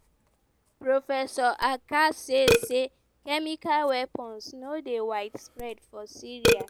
professor achcar say say "chemical weapons no dey widespread for syria.